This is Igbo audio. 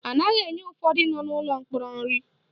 Anaghị enye ụfọdụ nọ n'ụlọ mkpọrọ nri